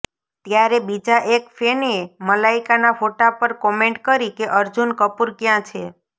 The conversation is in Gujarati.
ત્યારે બીજા એક ફેનએ મલાઇકાના ફોટો પર કોમેન્ટ કરી કે અર્જુન કપૂર ક્યાં છે